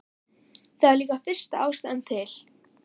Það er líka fyllsta ástæða til.